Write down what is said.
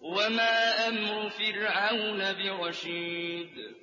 وَمَا أَمْرُ فِرْعَوْنَ بِرَشِيدٍ